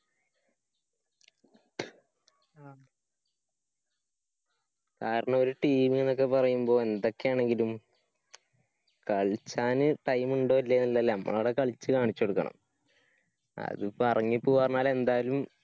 കാരണം ഒരു team ന്നൊക്കെ പറയുമ്പോ എന്തൊക്കെയാണെങ്കിലും കളിച്ചാല് time ണ്ടോ ഇല്ലയോന്നുള്ളതല്ല. അവിടെ കളിച്ച് കാണിച്ചുകൊടുക്കണം. അതിപ്പോ എറങ്ങി പോവാനേരം എന്തായാലും